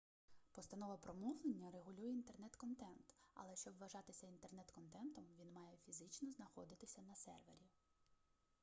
постанова про мовлення регулює інтернет-контент але щоб вважатися інтернет-контентом він має фізично знаходитися на сервері